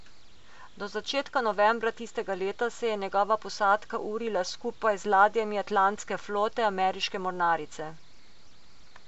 Do začetka novembra tistega leta se je njegova posadka urila skupaj z ladjami atlantske flote ameriške mornarice.